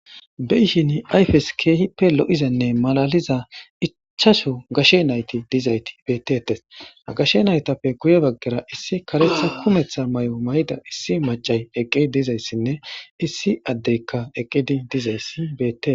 Beyishin ayifesi kehi loyizanne malaliza ichashu gashe nayiti betetesi ha gashe nayitappe guye baggara issi karetha kumetha mayo mayidda issi maccasi dizayisine issi adeyi dizayisi bettesi